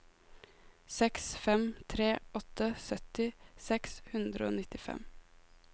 seks fem tre åtte sytti seks hundre og nittifem